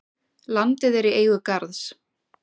Landið er í eigu Garðs.